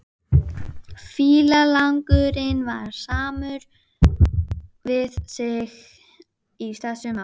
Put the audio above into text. Fíflagangurinn var samur við sig í þessu máli.